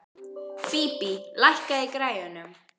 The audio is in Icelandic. Bíbí, lækkaðu í græjunum.